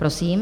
Prosím.